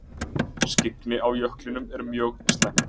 Skyggni á jöklinum er mjög slæmt